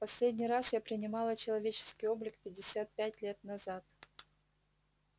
последний раз я принимала человеческий облик пятьдесят пять лет назад